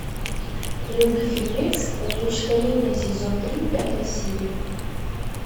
вруби фильмец опочтарение сезон три пятая серия